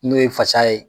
N'o ye fasa ye